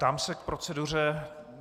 Ptám se k proceduře.